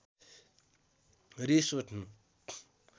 रिस उठ्नु